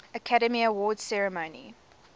academy awards ceremony